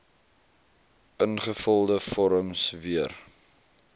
ingevulde vorms weer